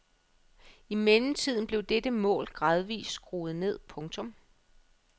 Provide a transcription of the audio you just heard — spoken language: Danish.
I mellemtiden blev dette mål gradvist skruet ned. punktum